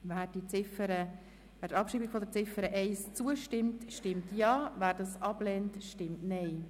Wer der Abschreibung zustimmt, stimmt Ja, wer diese ablehnt, stimmt Nein.